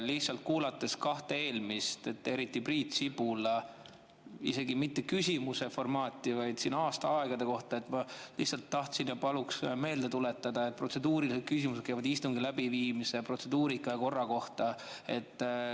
Lihtsalt kuulanuna kahte eelmist, eriti Priit Sibula oma, mis isegi mitte küsimuse formaadis, vaid aastaaegade kohta, ma lihtsalt paluks meelde tuletada, et protseduurilised küsimused käivad istungi läbiviimise protseduurika ja korra kohta.